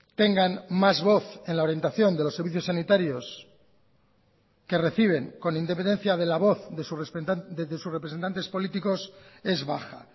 tengan más voz en la orientación de los servicios sanitarios que reciben con independencia de la voz desde sus representantes políticos es baja